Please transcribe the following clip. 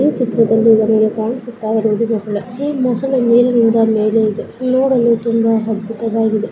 ಈ ಚಿತ್ರದಲ್ಲಿ ನಮಿಗೆ ಕಾಣಿಸುತ ಇರುವುದು ಮೊಸಳೆ ಈ ಮೊಸಳೆ ಮೇಲಿನಿಂದ ಮೇಲೆ ಇದೆ ನೋಡಲು ತುಂಬಾ ಅದ್ಬುತ ವಾಗಿದೆ.